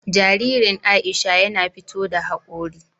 Jaririn Aisha yana fito da haƙori.